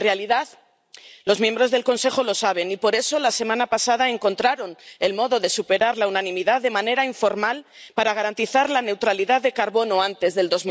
En realidad, los miembros del Consejo lo saben y, por eso, la semana pasada, encontraron el modo de superar la unanimidad de manera informal para garantizar la neutralidad en carbono antes del